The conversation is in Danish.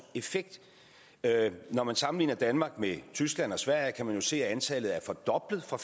effekt når man sammenligner danmark med tyskland og sverige kan man jo se at antallet er fordoblet fra